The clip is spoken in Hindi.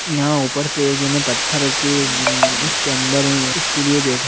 यहाँ ऊपर से गिने पत्थर रखे-- उसके अंदर है ये इसके लिए बैठे--